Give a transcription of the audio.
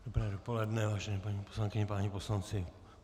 Dobré dopoledne, vážené paní poslankyně, páni poslanci.